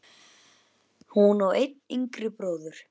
Hún á einn yngri bróður.